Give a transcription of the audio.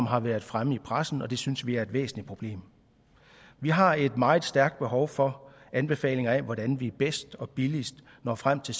har været fremme i pressen og det synes vi er et væsentligt problem vi har et meget stærkt behov for anbefalinger af hvordan vi bedst og billigst når frem til